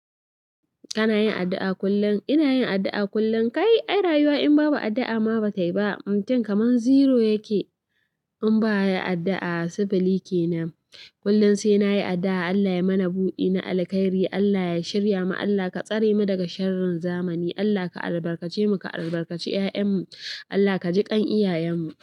Kana yin addu'a kullum? Ina yin addu'a kullum. Kai, ai rayuwa in babu addu'a ma ba ta yi ba. Mutum kamar zero yake in ba ya addu'a. Sifili ke nan. Kullum sai na yi addu'a Allah ya mana buɗi na alkairi, Allah ya shirya mu, Allah ka tsare mu daga sharrin zamani. Allah ka albarkace mu, ka albarkace ƴaƴanmu. Allah ka jiƙan iyayenmu.